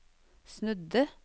snudde